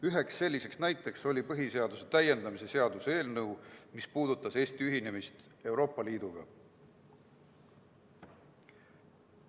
Üks selline näide on olnud põhiseaduse täiendamise seaduse eelnõu, mis puudutas Eesti ühinemist Euroopa Liiduga.